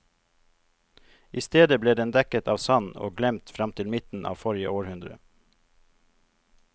I stedet ble den dekket av sand og glemt frem til midten av forrige århundre.